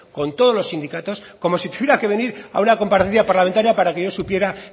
con todos los sindicatos como si tuviera que venir a una comparecencia parlamentaria para que yo supiera